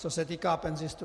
Co se týká penzistů.